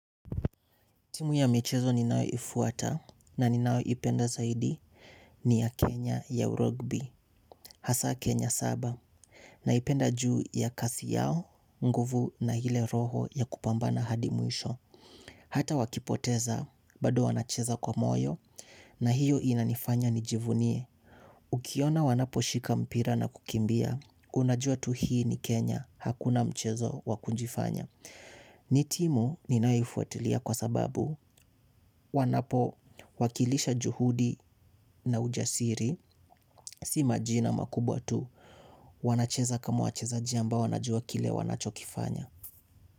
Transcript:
Timu ya michezo ninaoifuata na ninaoipenda zaidi ni ya Kenya ya urogbi, hasa Kenya saba, naipenda juu ya kasi yao, nguvu na ile roho ya kupambana hadi mwisho. Hata wakipoteza, bado wanacheza kwa moyo na hiyo inanifanya nijivunie. Ukiona wanapo shika mpira na kukimbia, unajua tu hii ni Kenya, hakuna mchezo wa kujifanya. Ni timu ninaifuatilia kwa sababu wanapo wakilisha juhudi na ujasiri. Si majina makubwa tu. Wanacheza kama wachezaji ambao wanajua kile wanachokifanya.